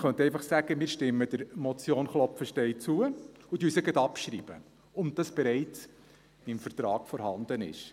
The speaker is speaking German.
Wir könnten einfach sagen, wir stimmten der Motion Klopfenstein zu und würden sie gerade abschreiben, da es bereits im Vertrag vorhanden ist.